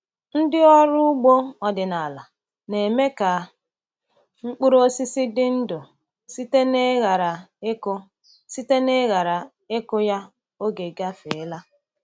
Ndị ọrụ ugbo ọdịnala na-eme ka mkpụrụ osisi dị ndụ site n’ịghara ịkụ site n’ịghara ịkụ ya oge gafeela.